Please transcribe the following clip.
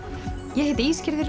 ég heiti